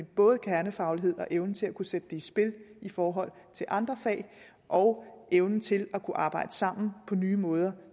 både kernefagligheden og evnen til at kunne sætte det i spil i forhold til andre fag og evnen til at kunne arbejde sammen på nye måder